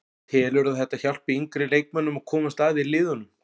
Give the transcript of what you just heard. Telurðu að þetta hjálpi yngri leikmönnum að komast að í liðunum?